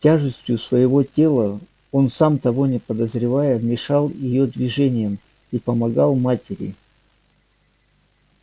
тяжестью своего тела он сам того не подозревая мешал её движениям и помогал матери